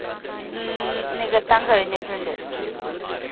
ന് ഏർ നികത്താൻ കഴിഞ്ഞിട്ടുണ്ട്.